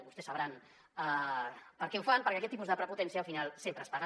vostès sabran per què ho fan perquè aquest tipus de prepotència al final sempre es paga